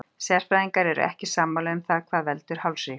Sérfræðingar eru ekki sammála um það hvað veldur hálsríg.